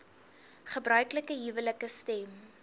gebruiklike huwelike stem